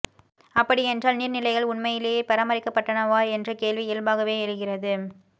அப்படி என்றால் நீர் நிலைகள் உண்மையிலேயே பராமரிக்கப்பட்டனவா என்ற கேள்வி இயல்பாகவே எழுகிறது